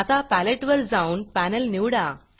आता Paletteपॅलेट वर जाऊन Panelपॅनेल निवडा